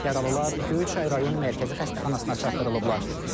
Yaralılar Göyçay Rayon Mərkəzi Xəstəxanasına çatdırılıblar.